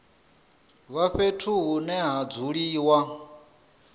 vha fhethu hune ha dzuliwa